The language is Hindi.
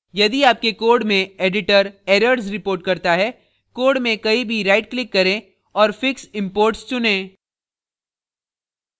यदि आपके code में editor errors reports करता है code में कहीं भी right click करें और fix imports चुनें